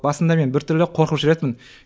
басында мен біртүрлі қорқып жүретінмін